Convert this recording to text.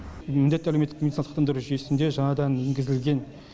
міндетті әлеуметтік медициналық сақтандыру жүйесінде жаңадан енгізілген